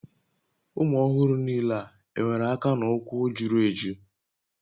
Ụmụ ọhụrụ niile e nwere aka na ụkwụ juru eju?